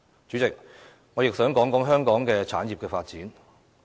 主席，我亦想談談香港的產業發展。